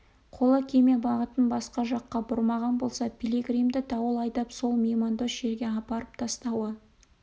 қолы кеме бағытын басқа жаққа бұрмаған болса пилигримді дауыл айдап сол меймандос жерге апарып тастауы